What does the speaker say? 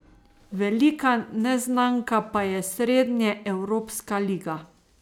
Velika neznanka pa je srednjeevropska liga.